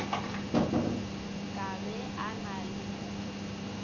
ka be a na le